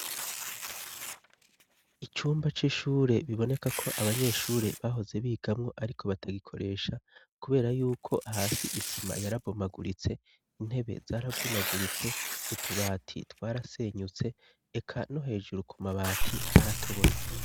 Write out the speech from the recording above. Icumba c'ishure biboneka ko abanyeshure bahoze bigamwo ariko batagikoresha kubera yuko hasi isima yarabomaguritse intebe zaravunaguritse utubati twarasenyutse eka no hejuru koma bati haratobotse.